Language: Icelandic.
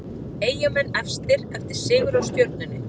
Eyjamenn efstir eftir sigur á Stjörnunni